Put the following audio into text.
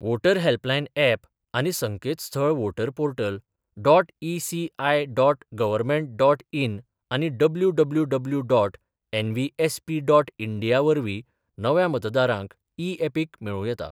Voter helpline app आनी संकेतस्थळ voter portal dot E C I dot government dot in आनी W W W dot N V S P dot India वरवीं नव्या मतदारांक इ यॅपिक मेळूं येता.